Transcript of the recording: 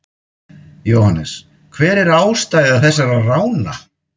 Jóhannes: Hver er ástæða þessara rána?